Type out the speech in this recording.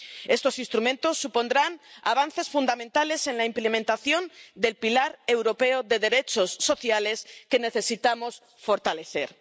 Estos instrumentos supondrán avances fundamentales en la implementación del pilar europeo de derechos sociales, que necesitamos fortalecer.